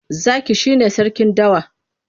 Zaki shi ne sarkin dawa.